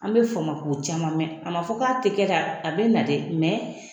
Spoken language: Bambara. An bɛ fama k'o caman mɛn a ma fɔ k'a tɛ kɛ ka a bɛ na dɛ a bɛ na dɛ